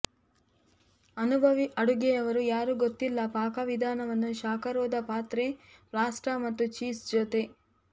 ಅನುಭವಿ ಅಡುಗೆಯವರು ಯಾರೂ ಗೊತ್ತಿಲ್ಲ ಪಾಕವಿಧಾನವನ್ನು ಶಾಖರೋಧ ಪಾತ್ರೆ ಪಾಸ್ಟಾ ಮತ್ತು ಚೀಸ್ ಜೊತೆ